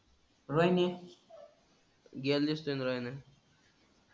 व्यानेश गेल दिसून रायला.